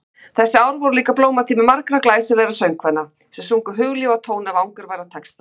Þessi ár voru líka blómatími margra glæsilegra söngkvenna sem sungu hugljúfa tóna við angurværa texta.